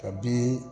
Ka bi